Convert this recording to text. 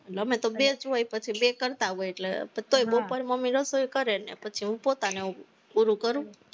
અને અમે તો બે જ હોય, પછી લઇ કરતા હોય, તોય બપોરે મમ્મી રસોઈ કરે ને પછી હું પોતા ને એવું બધું કરું